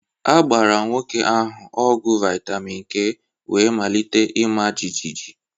A gbara nwoke ahụ ọgwụ vitamin k wee malite ịma jijiji